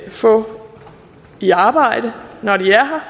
få i arbejde når de er her